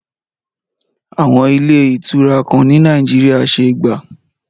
Àwọn ilé ìtura kan ni Nàìjíríyà ṣé gbà